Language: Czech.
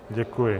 Děkuji.